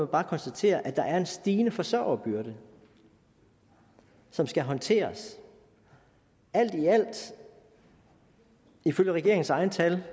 bare konstatere at der er en stigende forsørgerbyrde som skal håndteres alt i alt ifølge regeringens egne tal